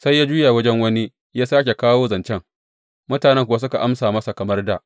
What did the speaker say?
Sai ya juya wajen wani kuma ya sāke kawo zancen, mutanen kuwa suka amsa masa kamar dā.